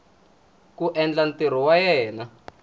ku endla ntirho wa yena